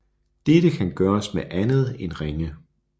Dette kan gøres med andet end ringe